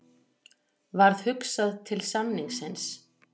Varð hugsað til samningsins.